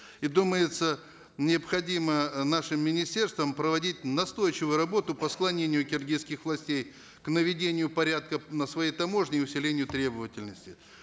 и думается необходимо э нашим министерствам проводить настойчивую работу по склонению киргизских властей к наведению порядка на своей таможне и усилению требовательности